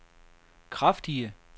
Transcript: kraftige